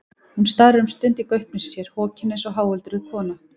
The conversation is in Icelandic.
Hún starir um stund í gaupnir sér, hokin eins og háöldruð kona.